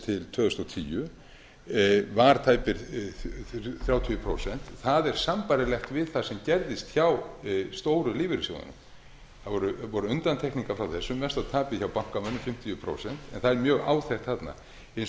tvö þúsund og tíu var tæp þrjátíu prósent það er sambærilegt við það sem gerðist hjá stóru lífeyrissjóðunum það voru undantekningar frá þessu mesta tapið hjá bankamönnum fimmtíu prósent en það er mjög áþekkt þarna hins vegar er